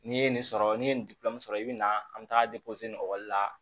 N'i ye nin sɔrɔ n'i ye nin sɔrɔ i bɛ na an bɛ taa ekɔli la